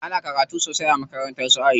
Ana karatu sosai a makarantar su Aisha.